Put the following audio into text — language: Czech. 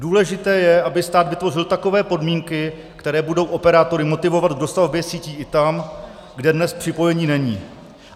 Důležité je, aby stát vytvořil takové podmínky, které budou operátory motivovat k dostavbě sítí i tam, kde dnes připojení není."